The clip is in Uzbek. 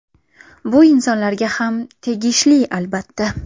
Bu insonlarga ham tegishli albatta.